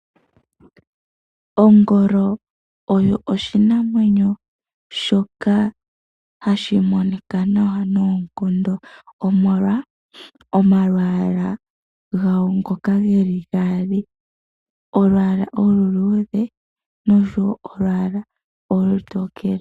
Ongolo oyo oshinamwenyo shoka hashi monika nawa noonkondo, omolwa omalwaala gayo ngoka geli gaali. Olwaala olu luudhe nosho wo olwaala olu tokele.